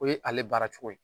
O ye ale baara cogo ye